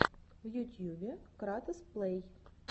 в ютьюбе кратос плей